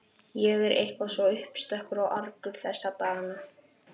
Ég er eitthvað svo uppstökkur og argur þessa dagana.